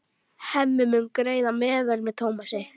Hemmi mun greiða meðlag með Tómasi.